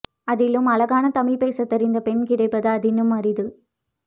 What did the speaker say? அதிலும் அழகான தமிழ் பேச தெரிந்த பெண் கிடைப்பது அதனினும் அரிது